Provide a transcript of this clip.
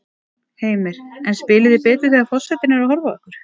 Heimir: En spilið þið betur þegar að forsetinn er að horfa á ykkur?